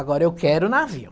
Agora eu quero navio.